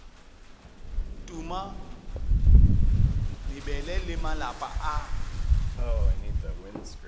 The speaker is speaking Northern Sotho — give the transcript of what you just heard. tuma mebele le malapa a